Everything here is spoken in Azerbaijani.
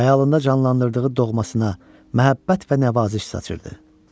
Xəyalında canlandırdığı doğmasına məhəbbət və nəvaziş saçırdı.